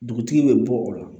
Dugutigi bɛ bɔ o la